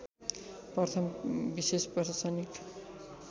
प्रथम विशेष प्रशासनिक